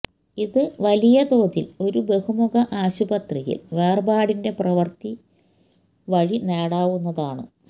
ഇത് വലിയതോതിൽ ഒരു ബഹുമുഖ ആശുപത്രിയിൽ വേർപാടിന്റെ പ്രവൃത്തി വഴി നേടാവുന്നതാണ്